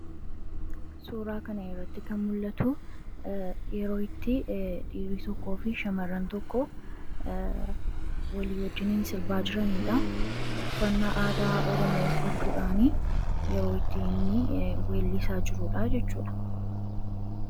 Suuraa kana irratti kan mul'atu yeroo itti dhiirii tokkoo fi shamar'an tokko walii wajjiniin sirbaa jiraniidha ufannaa aadaa oromoo uufachuudhaan yeroo ittiiinni weellisaa jiruudha jechuudha